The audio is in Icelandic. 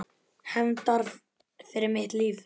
Hefndar fyrir mitt líf.